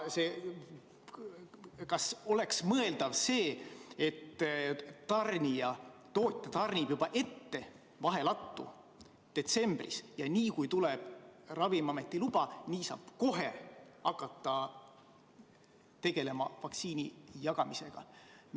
Kas oleks mõeldav, et tootja tarnib vahelattu juba detsembris ja kohe, kui tuleb Ravimiameti luba, saab hakata tegelema vaktsiini jagamisega?